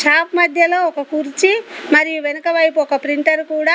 shop మధ్యలో ఒక కుర్చీ మరియు వెనుక వైపు ఒక ప్రింటర్ కూడా --